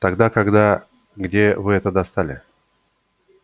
тогда когда где вы это достали